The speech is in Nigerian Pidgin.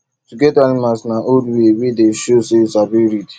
to get animals na old way wey dey show say you sabi lead